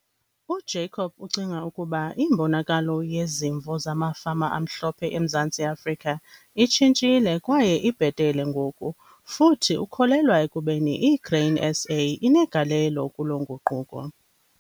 UJacob ucinga ukuba imbonakalo yezimvo zamafama amhlophe eMzantsi Afrika itshintshile kwaye ibhetele ngoku futhi ukholelwa ekubeni iGrain SA inegalelo kuloo nguquko.